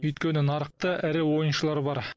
өйткені нарықта ірі ойыншылар бар